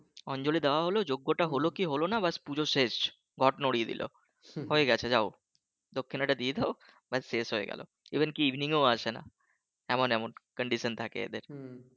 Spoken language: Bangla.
অঞ্জলি দেওয়া হলো যজ্ঞ টা হলো কি হলো না ব্যাস পুজো শেষ ঘট নরিয়ে দিল হয়ে গেছে যাও দক্ষিণাটা দিয়ে দাও ব্যাস শেষ হয়ে গেল even কি evening এও আসে না, এমন এমন condition থাকে এদের